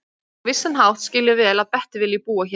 Á vissan hátt skil ég vel að Bettý vilji búa hér.